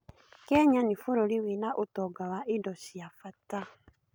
Kenya nĩ bũrũri wĩna ũtonga wa indo cia bata.